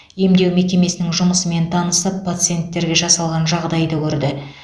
емдеу мекемесінің жұмысымен танысып пациенттерге жасалған жағдайды көрді